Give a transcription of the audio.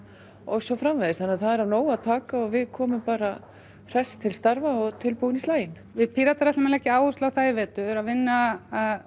og svo framvegis svo það er af nógu að taka og við komum bara hress til starfa og tilbúin í slaginn við Píratar ætlum að leggja áherslu á það í vetur að vinna